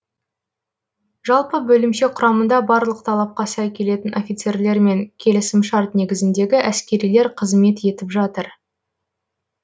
жалпы бөлімше құрамында барлық талапқа сай келетін офицерлер мен келісімшарт негізіндегі әскерилер қызмет етіп жатыр